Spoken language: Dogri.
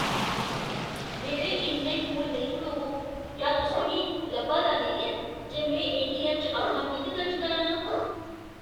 मेरे इन्ने कोल नेईं खड़ोवो ! क्या तुसें गी लब्भा दा नेईं ऐ जे में ए.टी.ऐम्म. च अपना पिन दर्ज करा ना आं?